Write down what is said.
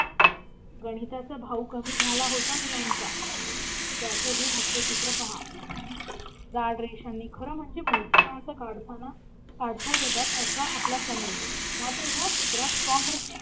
गणिताचा भाऊ कमी झाला होता मु लांचा त्याचंही हास्यचित्र पहा झाड रेषांनी खरं म्हणजे मोठी माणसं काढतानाकाढता येत असा आपला समज मात्र या चित्रात